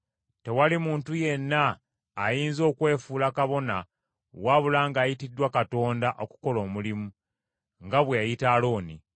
Tewali muntu yenna ayinza okwefuula kabona wabula ng’ayitiddwa Katonda okukola omulimu, nga bwe yayita Alooni.